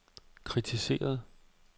kritiseret